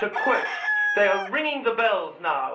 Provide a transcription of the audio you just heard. To quote, They are ringing the bells now